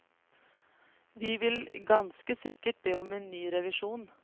Vi vil ganske sikkert be om en ny revisjon.